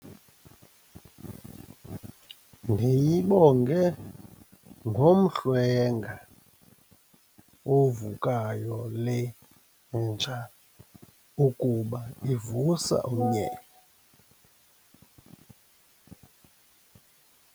Ndiyibonge ngomhlwenga ovukayo le nja ukuba ivusa umnyele.